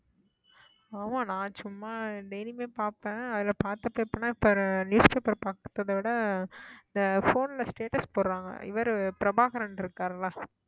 ஆமா நான் சும்மா daily யுமே பார்ப்பேன் அதுல newspaper பார்த்ததை விட இந்த phone ல status போடுறாங்க இவரு பிரபாகரன் இருக்காருல்ல